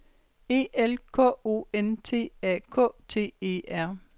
E L K O N T A K T E R